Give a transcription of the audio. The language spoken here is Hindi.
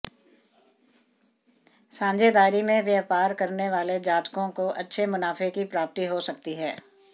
साझेदारी में व्यापार करने वाले जातकों को अच्छे मुनाफे की प्राप्ति हो सकती है